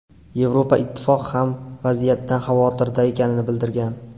Yevroittifoq ham vaziyatdan xavotirda ekanini bildirgan.